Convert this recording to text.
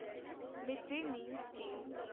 mid day meal scheme